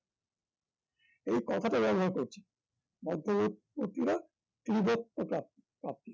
এই কথাটা ব্যবহার করছেন মধ্যবর্তীরা তীব্র চাপ প্রাপ্তি